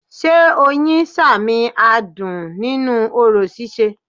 Sé Oyin sàmìn adùn nínú orò síse